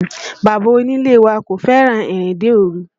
Bàbá onílé wa kò fẹ́ràn ìrìnde òru